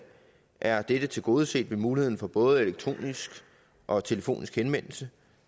er det tilgodeset med muligheden for både elektronisk og telefonisk henvendelse